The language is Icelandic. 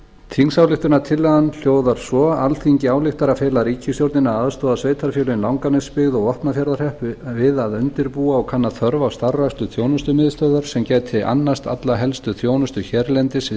þingsályktunartillagan hljóðar svo alþingi ályktar að fela ríkisstjórninni að aðstoða sveitarfélögin langanesbyggð og vopnafjarðarhrepp við að undirbúa og kanna þörf á starfrækslu þjónustumiðstöðvar sem gæti annast alla helstu þjónustu hérlendis við